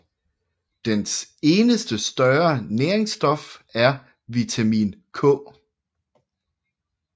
Dens eneste større næringsstof er vitamin K